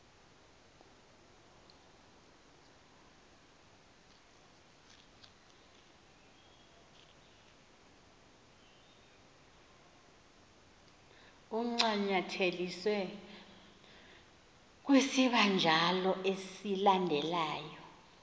ancanyatheliswe kwisibanjalo esilandelyo